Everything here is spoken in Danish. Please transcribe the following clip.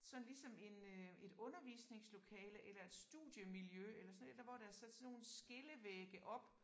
Sådan ligesom en øh et undervisningslokale eller et studiemiljø eller sådan et eller hvor der er sat sådan nogle skillevægge op